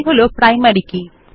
এটি হল প্রাইমারী কী